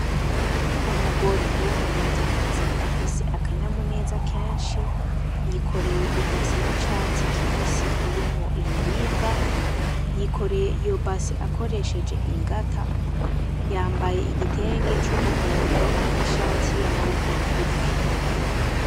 Umugore w'umurundi kazi afise akanyamuneza kenshi yikoreye i base y'icatsi kibisi irimwo ibiribwa yikoreye iyo base akoresheje ingata yambaye igitenge c'umuhondo n'ishati y'amaboko magufi.